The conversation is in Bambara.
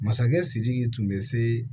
Masakɛ sidiki tun bɛ se